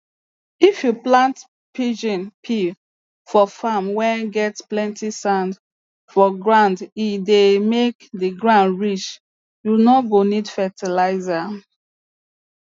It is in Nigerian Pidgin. if you plant pigeon pea for farm whey get plenty sand for groundhe dey make the ground rich you no go need fertilizer